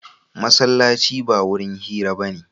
Masallaci ba wurin hira ba ne.